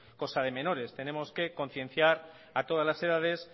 cosa de menores tenemos que concienciar a todas las edades